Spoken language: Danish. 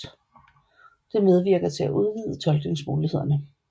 Det medvirker til at udvide tolkningsmulighederne